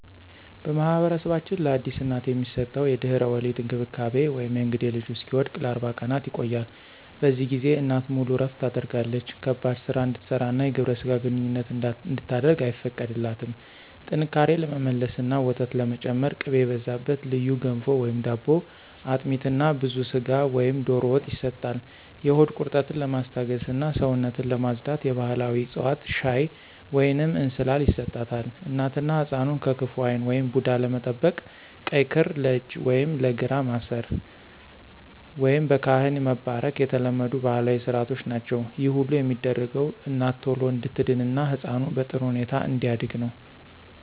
በማኅበረሰባችን ለአዲስ እናት የሚሰጠው የድህረ-ወሊድ እንክብካቤ (የእንግዴ ልጁ እስኪወድቅ) ለ40 ቀናት ይቆያል። በዚህ ጊዜ እናት ሙሉ እረፍት ታደርጋለች ከባድ ሥራ እንድትሠራና የግብረ ሥጋ ግንኙነት እንድታደርግ አይፈቀድላትም። ጥንካሬ ለመመለስና ወተት ለመጨመር ቅቤ የበዛበት ልዩ ገንፎ/ዳቦ፣ አጥሚት እና ብዙ ሥጋ ወይም ዶሮ ወጥ ይሰጣል። የሆድ ቁርጠትን ለማስታገስና ሰውነትን ለማፅዳት የባሕላዊ ዕፅዋት ሻይ ወይንም እንስላል ይሰጣታል። እናትና ሕፃኑን ከክፉ ዓይን (ቡዳ) ለመጠበቅ ቀይ ክር ለእጅ ወይም ለእግር ማሰር፣ ወይም በካህን መባረክ የተለመዱ ባሕላዊ ሥርዓቶች ናቸው። ይህ ሁሉ የሚደረገው እናት ቶሎ እንድትድንና ሕፃኑ በጥሩ ሁኔታ እንዲያድግ ነው።